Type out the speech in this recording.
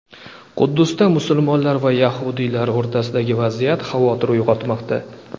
Quddusda musulmonlar va yahudiylar o‘rtasidagi vaziyat xavotir uyg‘otmoqda.